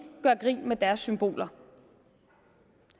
gør grin med deres symboler